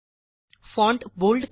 font bold करा